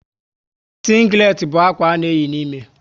Sínglet bú ákwà a na eyi n'ime